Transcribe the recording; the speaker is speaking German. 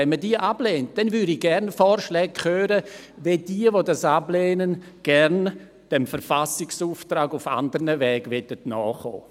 Wenn man diese ablehnt, möchte ich gerne Vorschläge hören, wie diejenigen, welche die Planungserklärungen ablehnen, dem Verfassungsauftrag auf anderen Wegen nachkommen wollen.